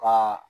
Ka